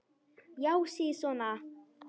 Já, sisona!